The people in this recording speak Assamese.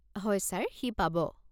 হয় ছাৰ, সি পাব।